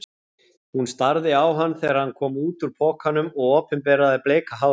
Hún starði á hann þegar hann kom út úr pokanum og opinberaði bleika hárið.